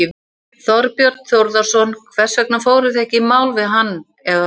Þorbjörn Þórðarson: Hvers vegna fóruð þið ekki í mál við hann eða þá?